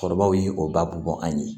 Cɛkɔrɔbaw y'i o babu an ye